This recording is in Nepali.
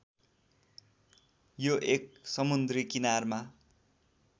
यो एक समुन्द्री किनारमा